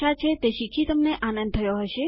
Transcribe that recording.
આશા છે તે શીખી તમને આનંદ થયો હશે